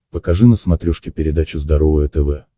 покажи на смотрешке передачу здоровое тв